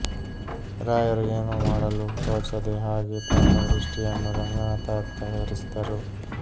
ರಾಯರು ಏನೂ ಮಾಡಲು ತೋಚದೆ ಹಾಗೇ ತಮ್ಮ ದೃಷ್ಟಿಯನ್ನು ರಂಗನಾಥರತ್ತ ಹರಿಸಿದರು